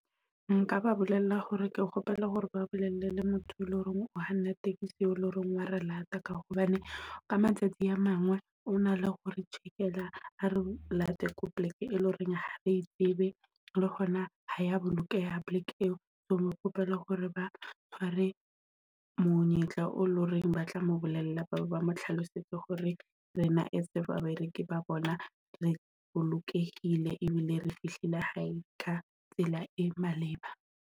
Nka ba bolella hore ke kgopela hore ba bolelle le motho e leng hore o kganna tekesi e leng hore eleng hore wa re late. Ka hobane ka matsatsi a mangwe o na le hore jikela a re late ko plek, e leng hore ha re tsebe le hona ha ya bolokeha poleke eo. So ke kgopela hore ba tshwere monyetla eo eleng ho reng, ba tla mo bolella ba mo hlalosetse hore rena as babereki ba bona, re bolokehile ebile re fihlile hae ka tsela e maleba.